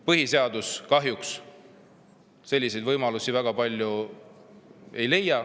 Põhiseaduses selliseid võimalusi kahjuks väga palju ei leia.